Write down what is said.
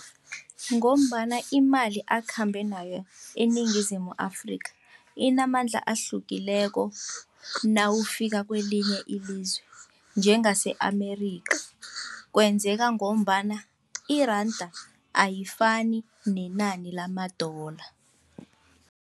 Ngombana imali akhambe nayo eniNingizimu Afrika, inamandla ahlukileko nawufika kelinye ilizwe, njengase-Amerikha, kwenzeka ngombana iranda ayifani nenani lama-dollar.